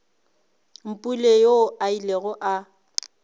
mpule yoo a ilego a